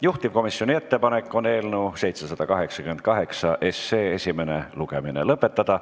Juhtivkomisjoni ettepanek on eelnõu 788 esimene lugemine lõpetada.